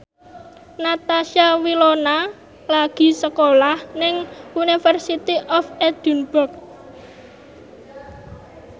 Natasha Wilona lagi sekolah nang University of Edinburgh